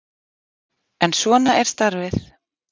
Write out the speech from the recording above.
En svona er starfið.